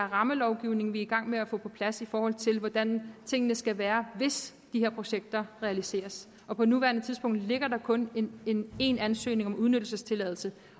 rammelovgivning vi er i gang med at få på plads i forhold til hvordan tingene skal være hvis de her projekter realiseres på på nuværende tidspunkt ligger der kun en en ansøgning om udnyttelsestilladelse